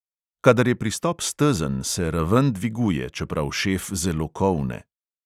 Kadar je pristop stezen, se raven dviguje, čeprav šef zelo kolne.